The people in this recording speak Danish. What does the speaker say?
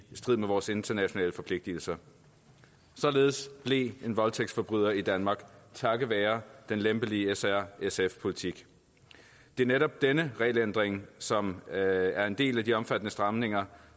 strid med vores internationale forpligtelser således blev en voldtægtsforbryder i danmark takket være den lempelige s r sf politik det er netop denne regelændring som er en del af de omfattende stramninger